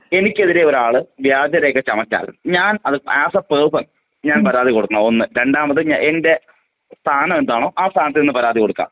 എനിക്കെതിരെ ഒരാള് വ്യാജ രേഖ ചമച്ചാൽ ആസ് എ പേഴ്സൺ ഞാൻ പരാതി കൊടുക്കാണോ? ഒന്ന് രണ്ടാമത് ഞാൻ എന്റെ സ്ഥാനം എന്താണോ? ആ സ്ഥാനത്ത് നിന്ന് പരാതി കൊടുക്കാം.